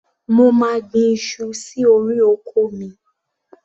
Mo máa gbin iṣu sí orí oko mi.